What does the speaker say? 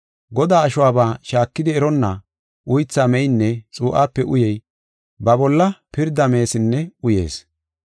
Godaa ashuwaba shaakidi eronna, uytha meynne xuu7ape uyey, ba bolla pirda meesinne uyees.